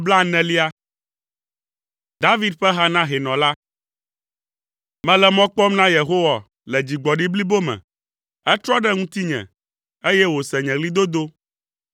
David ƒe ha na hɛnɔ la. Mele mɔ kpɔm na Yehowa le dzigbɔɖi blibo me; etrɔ ɖe ŋutinye, eye wòse nye ɣlidodo.